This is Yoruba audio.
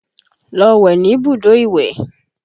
Lọ wẹ̀ níbùdó ìwẹ̀!